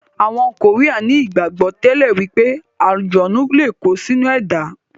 Àwọn koría ní ìgbàgbọ́ tẹ́lẹ̀ wípé àlùjọ̀nnú lé kó sí inú ẹ̀dá.